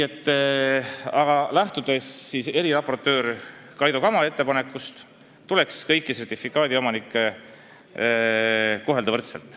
Aga jah, lähtudes ka eriraportöör Kaido Kama ettepanekust, tuleks kõiki sertifikaadiomanikke kohelda võrdselt.